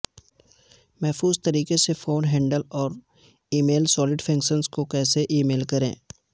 محفوظ طریقے سے فون ہینڈل اور ای میل سولٹیفیکیشنز کو کیسے ای میل کریں